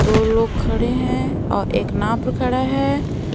दो लोग खड़े हैं और एक नाव पे खड़ा है।